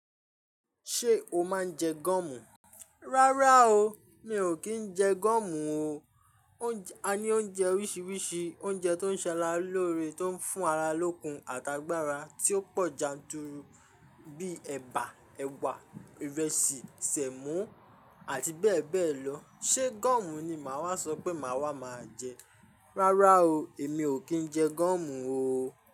Ṣé o máa ń jẹ gọ̀mù? Rárá o, mi ò kí ń jẹ gọ̀mù o. A ní oúnjẹ oríṣiríṣi, oúnjẹ tó ń ṣẹ ara lóre, tó ń fún ara lókun àtàgbàrà tí ó pọ̀ janturu bíi ẹ̀bà, ẹ̀wà, ìrẹsì, sẹ̀mó àti bẹ́ẹ̀ bẹ́ẹ̀ lọ. Ṣé gọ̀mù ni màá wá sọ pé màá wá máa jẹ? Rárá o, èmi ò kí ń jẹ gúọ̀mù o.